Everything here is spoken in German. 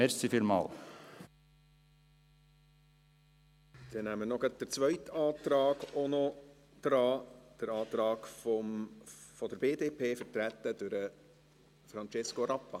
Dann nehmen wir auch noch gleich den zweiten Antrag dran, den Antrag der BDP, vertreten durch Francesco Rappa.